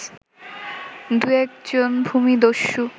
দুয়েক জন ভূমিদস্যু